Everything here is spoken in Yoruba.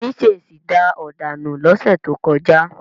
Yẹmí ṣèṣì da ọ̀dà nù lọ́sẹ̀ tó kọjá.